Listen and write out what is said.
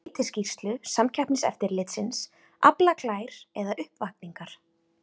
Heiti skýrslu Samkeppniseftirlitsins, Aflaklær eða uppvakningar?